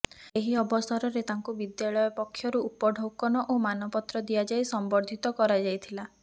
ଏହି ଅବସରରେ ତାଙ୍କୁ ବିଦ୍ୟାଳୟ ପକ୍ଷରୁ ଉପଢ଼ୌକନ ଓ ମାନପତ୍ର ଦିଆଯାଇ ସମ୍ବର୍ଦ୍ଧିତ କରାଯାଇଥିଲା